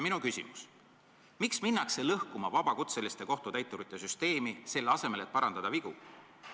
Minu küsimus: miks minnakse lõhkuma vabakutseliste kohtutäiturite süsteemi, selle asemel et parandada vigu?